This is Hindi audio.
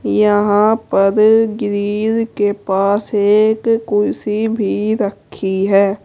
यहां पर ग्रील के पास एक कुर्सी भी रखी है।